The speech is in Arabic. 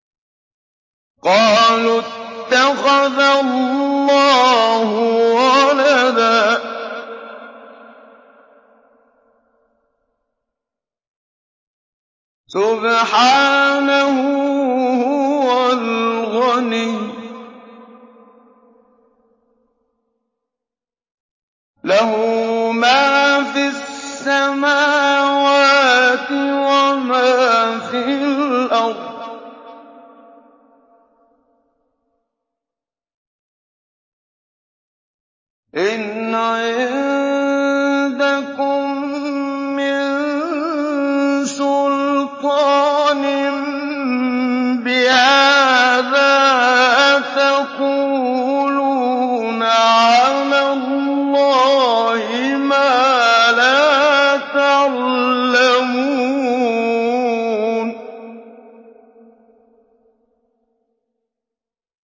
قَالُوا اتَّخَذَ اللَّهُ وَلَدًا ۗ سُبْحَانَهُ ۖ هُوَ الْغَنِيُّ ۖ لَهُ مَا فِي السَّمَاوَاتِ وَمَا فِي الْأَرْضِ ۚ إِنْ عِندَكُم مِّن سُلْطَانٍ بِهَٰذَا ۚ أَتَقُولُونَ عَلَى اللَّهِ مَا لَا تَعْلَمُونَ